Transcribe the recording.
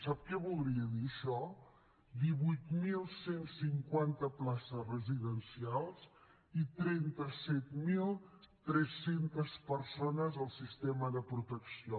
sap què voldria dir això divuit mil cent i cinquanta places residencials i trenta set mil tres cents persones al sistema de protecció